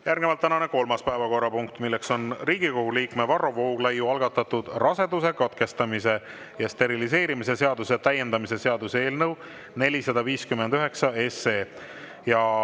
Järgnevalt tänane kolmas päevakorrapunkt, milleks on Riigikogu liikme Varro Vooglaiu algatatud raseduse katkestamise ja steriliseerimise seaduse täiendamise seaduse eelnõu 459.